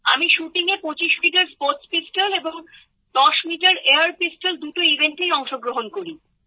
আমি শুটিংএ ২৫ metre sports pistol এবং ১০ মিটার এয়ার পিস্তল দুটি ইভেন্টেই অংশগ্রহণ করি